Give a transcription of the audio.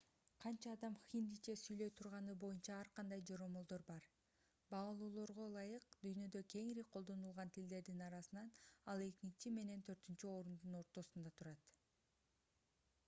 канча адам хиндиче сүйлөй турганы боюнча ар кандай жоромолдор бар баалоолорго ылайык дүйнөдө кеңири колдонулган тилдердин арасынан ал экинчи менен төртүнчү орундун ортосунда турат